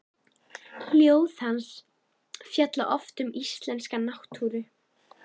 Ljóð hans fjalla oft um íslenska náttúru.